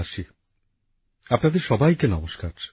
আমার প্রিয় দেশবাসী আপনাদের সবাইকে নমস্কার